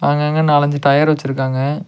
அங்கங்க நாலு அஞ்சு டயர் வச்சிருக்காங்க.